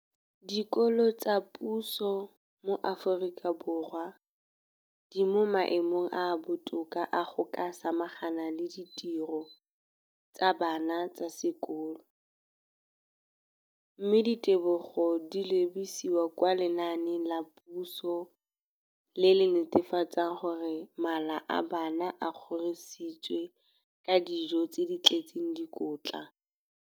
Dikolo tsa puso mo Aforika Borwa ba mo maemong a a botoka a go ka samagana le ditiro tsa bona tsa sekolo, mme ditebogo di lebisiwa kwa lenaaneng la puso le le netefatsang gore mala a bona a kgorisitswe ka dijo tse di tletseng dikotla.